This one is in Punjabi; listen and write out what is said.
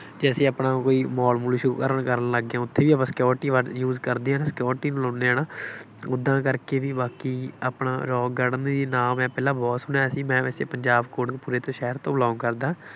ਕਿ ਅਸੀਂ ਆਪਣਾ ਕੋਈ mall ਮੂ਼ਲ ਸ਼ੁਰੂ ਕਰਨਾ ਕਰਨ ਲੱਗੇ ਹਾਂ, ਉੱਥੇ ਵੀ ਆਪਾ security word use ਕਰਦੇ ਹਾਂ ਨਾ, security ਬੁਲਾਉਂਦੇ ਹਾਂ ਨਾ, ਓਦਾਂ ਕਰਕੇ ਬਈ ਬਾਕੀ ਆਪਣਾ ਰੌਕ ਗਾਰਡਨ ਦੇ ਵੀ ਨਾਮ ਹੈ, ਪਹਿਲਾਂ ਬਹੁਤ ਸੁਣਿਆ ਸੀ ਮੈਂ ਵੈਸੇ, ਪੰਜਾਬ ਕੋਟਕਪੂਰੇ ਦੇ ਸ਼ਹਿਰ ਤੋਂ belong ਕਰਦਾ,